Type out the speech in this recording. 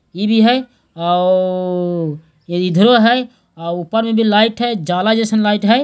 TV है एवं घर है | लाइट है ऊपर भी जाला जैसा लाईट है।